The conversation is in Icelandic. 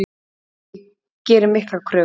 Ég geri miklar kröfur.